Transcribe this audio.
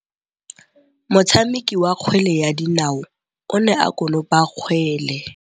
Motshameki wa kgwele ya dinaô o ne a konopa kgwele.